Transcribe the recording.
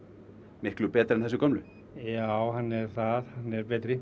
miklu betri en þessir gömlu já hann er það hann er betri